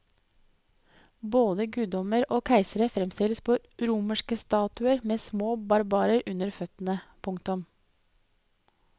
Både guddommer og keisere fremstilles på romerske statuetter med små barbarer under føttene. punktum